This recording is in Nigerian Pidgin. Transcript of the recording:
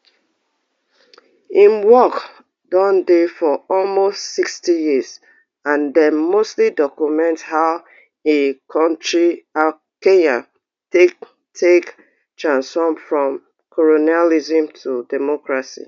im work don dey for almost sixty years and dem mostly document how in kontri kenya take take transform from colonialism to democracy